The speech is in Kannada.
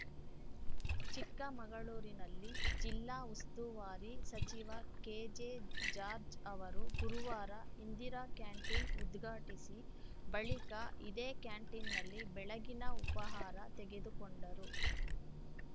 ಚಿಕ್ಕಮಗಳೂರಿನಲ್ಲಿ ಜಿಲ್ಲಾ ಉಸ್ತುವಾರಿ ಸಚಿವ ಕೆಜೆ ಜಾರ್ಜ್ ಅವರು ಗುರುವಾರ ಇಂದಿರಾ ಕ್ಯಾಂಟಿನ್‌ ಉದ್ಘಾಟಿಸಿ ಬಳಿಕ ಇದೇ ಕ್ಯಾಂಟಿನ್‌ನಲ್ಲಿ ಬೆಳಗಿನ ಉಪಹಾರ ತೆಗೆದುಕೊಂಡರು